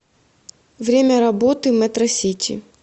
время работы метросити